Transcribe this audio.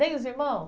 Nem os irmão?